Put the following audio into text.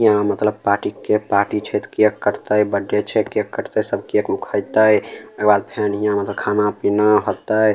यहां मतलब party cake party छै ते केक कटते बर्थडे छै केक कटते सब केक वूक खेते ओय के बाद फेन यहां खाना-पीना होते।